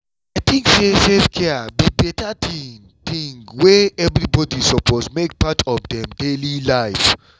i tink say self-care be beta thing thing wey everybody suppose make part of dem daily life